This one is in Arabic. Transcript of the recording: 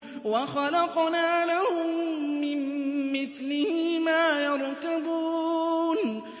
وَخَلَقْنَا لَهُم مِّن مِّثْلِهِ مَا يَرْكَبُونَ